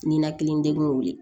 Ninakili degun ye